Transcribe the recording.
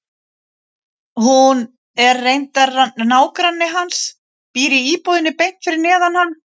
Hún er reyndar nágranni hans, býr í íbúðinni beint fyrir neðan.